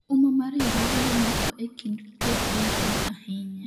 umma mar riwruoge mamoko e kind jopiny tin ahinya